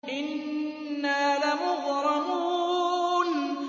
إِنَّا لَمُغْرَمُونَ